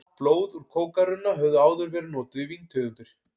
Blöð úr kókarunna höfðu áður verið notuð í víntegundir.